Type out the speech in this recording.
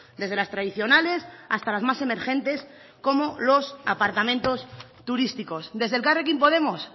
desde las tradicionales hasta las más emergentes como los apartamentos turísticos desde elkarrekin podemos